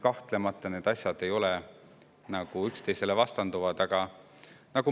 Kahtlemata ei vastandu need asjad üksteisele.